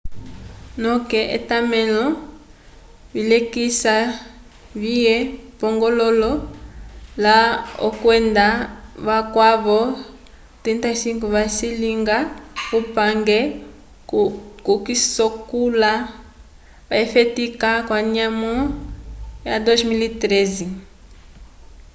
noke etamelo vilekisa vye pongololo la hall kwenda vakwavo 34 vacilinga upange ko sikola vafetika kanyamo ya 2013